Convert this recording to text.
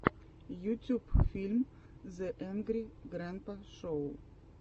ютюб фильм зе энгри грэнпа шоу